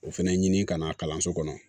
O fɛnɛ ɲini ka na kalanso kɔnɔ